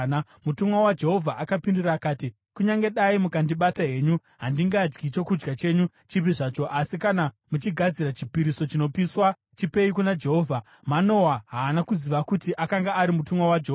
Mutumwa waJehovha akapindura akati, “Kunyange dai mukandibata henyu, handingadyi chokudya chenyu chipi zvacho. Asi kana muchigadzira chipiriso chinopiswa, chipei kuna Jehovha.” (Manoa haana kuziva kuti akanga ari mutumwa Jehovha.)